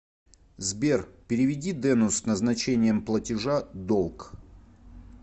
сбер переведи дену с назначением платежа долг